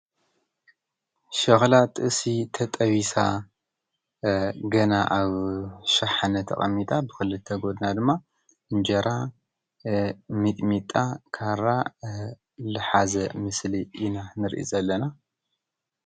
ሸኽላ ጥብሲ ተጠቢሳ ገና አብ ሸሓነ ተቀሚጣ ብክልተ ጎና ድማ እንጀራ፣ ሚጥሚጣ፣ ካራ ዝሓዘ ምስሊ ኢና ንርኢ ዘለና።